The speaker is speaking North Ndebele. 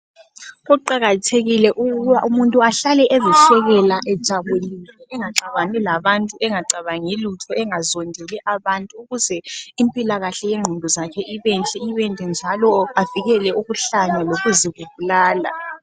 Kuqakathekile ukuthi umuntu ahlale ezihlekela ejabulile, engaxabani labantu, engacabangi lutho, engazondeli abantu ukuze impilakahle yengqondo zakhe ibenhle ibende njalo avikele ukuhlanya lokuzibulala